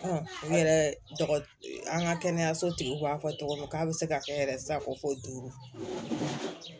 u yɛrɛ an ka kɛnɛyasotigiw b'a fɔ tɔgɔ min k'a bɛ se ka kɛ yɛrɛ sako do